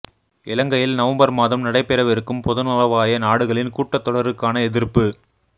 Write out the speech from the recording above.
இலங்கையில் நொவம்பர் மாதம் நடைபெறவிருக்கும் பொதுநலவாய நாடுகளின் கூட்டத் தொடருக்கான எதிர்ப்பு